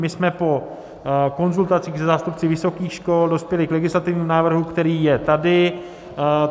My jsme po konzultacích se zástupci vysokých škol dospěli k legislativnímu návrhu, který je tady.